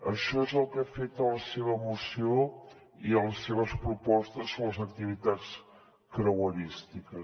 això és el que he fet a la seva moció i a les seves propostes sobre les activitats creuerístiques